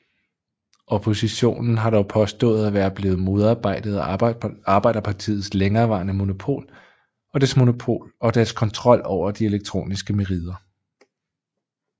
Oppositionen har dog påstået at være blevet modarbejdet af Arbejderpartiets længereværende monopol og dets kontrol over de elektroniske merider